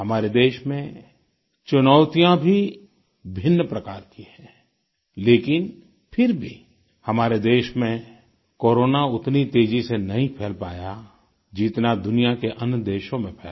हमारे देश में चुनौतियाँ भी भिन्न प्रकार की हैं लेकिन फिर भी हमारे देश में कोरोना उतनी तेजी से नहीं फ़ैल पाया जितना दुनिया के अन्य देशों में फैला